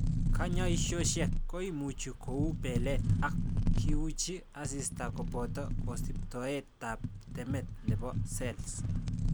kanyaisosiek koimuch kou:belet, ak kiuchi asista koboto kosibtoet tab temet nebo cells